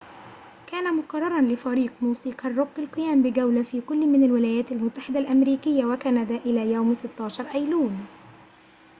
كان مقرراً لفريق موسيقى الروك القيام بجولة في كلٍ من الولايات المتحدة الأمريكية وكندا إلى يوم 16 أيلول